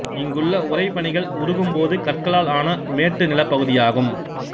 இங்குள்ள உறைபனிகள் உருகும் போது கற்களால் ஆன மேட்டு நிலப்பகுதியாகும்